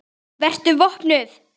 Vertu vopnuð.